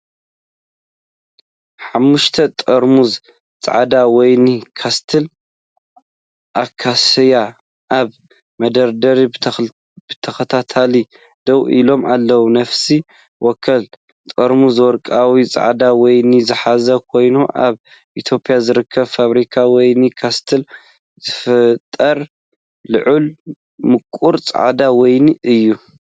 ሓሙሽተ ጥርሙዝ ጻዕዳ ወይኒ ካስተል ኣካስያ ኣብ መደርደሪ ብተኸታታሊ ደው ኢሎም ኣለዉ። ነፍሲ ወከፍ ጥርሙዝ ወርቃዊ ጻዕዳ ወይኒ ዝሓዘ ኮይኑ፡ ኣብ ኢትዮጵያ ዝርከብ ፋብሪካ ወይኒ ካስተል ዝፍጠር ልኡም ምቁር ጻዕዳ ወይኒ እዩ።